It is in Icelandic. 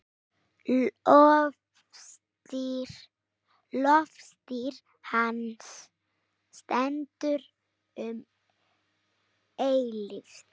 Lofstír hans stendur um eilífð.